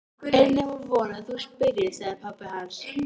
Er nema von að þú spyrjir, sagði pabbi hans.